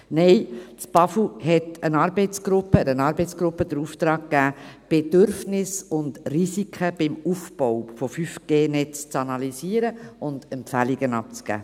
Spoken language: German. Nein, das BAFU hat einer Arbeitsgruppe den Auftrag gegeben, Bedürfnisse und Risiken beim Aufbau des 5G-Netzes zu analysieren und Empfehlungen abzugeben.